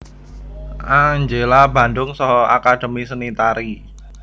Angela Bandung saha Akademi Seni Tari